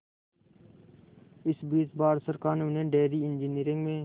इस बीच भारत सरकार ने उन्हें डेयरी इंजीनियरिंग में